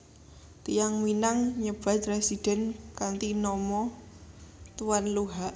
Tiyang Minang nyebat residen kanthi nama Tuan Luhak